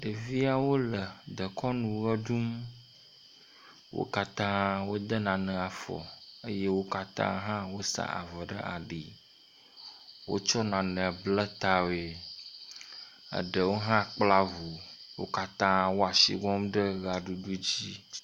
Ɖeviawo le dekɔnu ʋe ɖum. Wo katã wode nane afɔ eye wo katã hã wosa avɔ ɖe ali. Wotsɔ nane ble ta ʋi. eɖewo hã kpla ŋu. wo katã wo asi bɔm ɖe ʋea ɖuɖuɖ dzi.